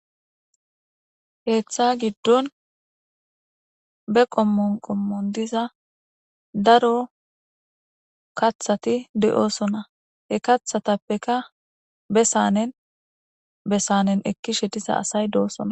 Keeththa giddon be qommon qommon diza daro kaththati de'osona he kaththatapeka be saanen be saanen ekkishe diza asay doosona.